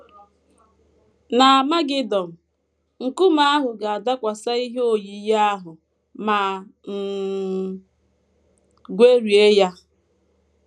N’Amagedọn, nkume ahụ ga - adakwasị ihe oyiyi ahụ ma um gwerie ya.